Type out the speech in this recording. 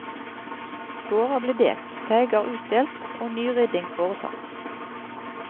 Gårder ble delt, teiger utdelt og nyrydding foretatt.